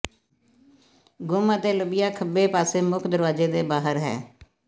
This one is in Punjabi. ਗੁੰਮ ਅਤੇ ਲੱਭਿਆ ਖੱਬੇ ਪਾਸੇ ਮੁੱਖ ਦਰਵਾਜ਼ੇ ਦੇ ਬਾਹਰ ਹੈ